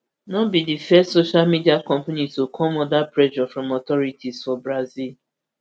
no be di first social media company to come under pressure from authorities for brazil